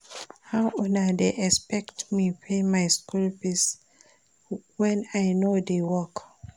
How una dey expect me to dey pay my school fees wen I no dey work